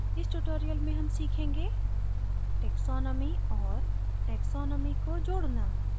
इस tutorial में हम सीखेंगे taxonomy और taxonomy को जोडना